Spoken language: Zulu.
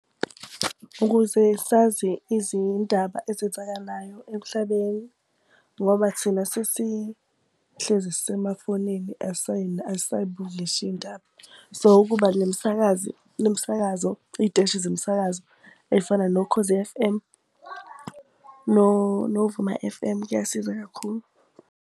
Ukuze sazi izindaba ezenzakalayo emhlabeni, ngoba thina sesihlezi sisemafonini asisay'buki ngisho iy'ndaba. So, ukuba nemisakazo, iy'teshi zomsakazo ey'fana noKhozi F_M noVuma F_M kuyasiza kakhulu.